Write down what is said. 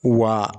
Wa